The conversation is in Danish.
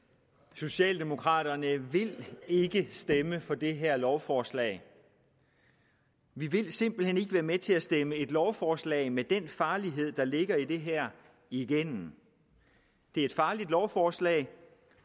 socialdemokraterne vil ikke stemme for det her lovforslag vi vil simpelt hen ikke være med til at stemme et lovforslag med den farlighed der ligger i det her igennem det er et farligt lovforslag